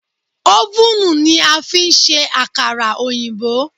Ófùnù ni a fi ń ṣe àkàrà òyìnbó